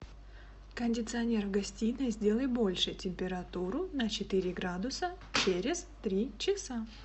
кондиционер в гостиной сделай больше температуру на четыре градуса через три часа